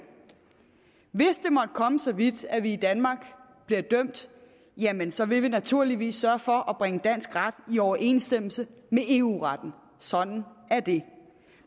hvis det måtte komme så vidt at vi i danmark bliver dømt jamen så vil vi naturligvis sørge for at bringe dansk ret i overensstemmelse med eu retten sådan er det